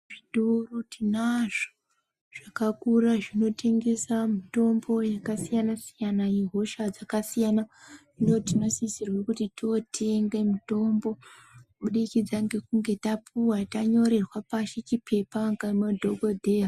Zvitoro tinazvo zvakakura zvinotengesa mitombo yakasiyana siyana yehosha dzakasiyana hino tinosisirwa kuti totenga mitombo kuburikidza ngekunge tapuwa tanyorerwa pashi chipepa ngemadhokodheya.